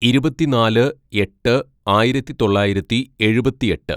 "ഇരുപത്തിനാല് എട്ട് ആയിരത്തിതൊള്ളായിരത്തി എഴുപത്തിയെട്ട്‌